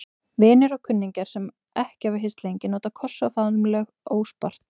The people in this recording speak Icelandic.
Vinir og kunningjar, sem ekki hafa hist lengi, nota kossa og faðmlög óspart.